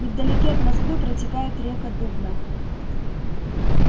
невдалеке от москвы протекает река дубна